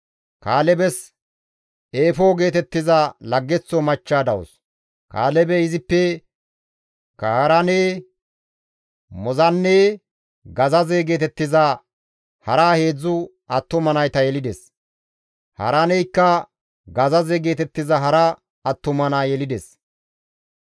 Kaalebes Eefo geetettiza laggeththo machcha dawus; Kaalebey izippe Kaaraane, Moozanne Gazaze geetettiza hara 3 attuma nayta yelides; Haaraaneykka Gazaze geetettiza hara attuma naa yelides.